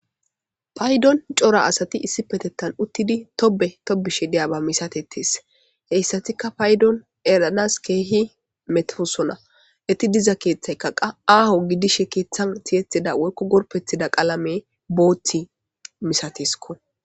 paydon cora asati issi petettan uttidi tobe tobishe deyaba misatetees heyssatikka paydon eranas keehi metefosona eti diza keeththaykkaqa aaho gidishe keeththan siyethida woykko gorpethida qalame boothi misatesko